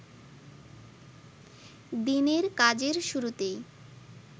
দিনের কাজের শুরুতেই